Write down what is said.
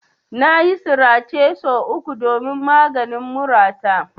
Nayi sirace sau uku don maganin murata.